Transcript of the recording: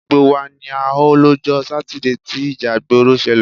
Gbogbo wa ni a họ lọ́jọ́ Sátidé tí ìjà ìgbòrò ṣẹlẹ̀.